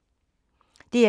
DR1